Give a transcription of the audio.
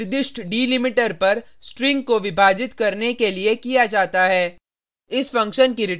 split function का उपयोग एक निर्दिष्ट डिलिमीटर पर स्ट्रिंग को विभाजित करने के लिए किया जाता है